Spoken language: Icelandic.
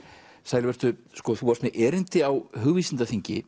sæl vertu þú varst með erindi á